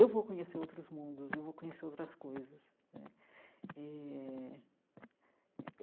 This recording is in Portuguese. Eu vou conhecer outros mundos, eu vou conhecer outras coisas né eh.